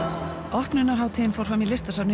opnunarhátíðin fór fram í Listasafni